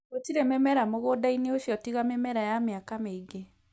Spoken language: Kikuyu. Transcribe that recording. Gũtirĩ mĩmera mũgũnda-inĩ ũcio tiga mĩmera ya mĩaka mĩingĩ.